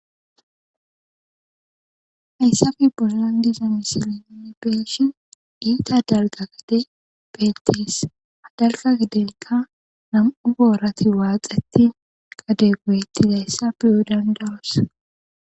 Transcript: Hayssafi bolandisa misilini beeshin iita dalqa gade beltis hadalga gadenka nam'u goorati waaqetti qade goyettidayssa biyu dandaros.